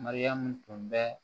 Mariyamu tun bɛ